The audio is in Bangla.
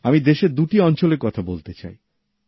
আমি দেশের দুটি অঞ্চলের কথা বলতে চাই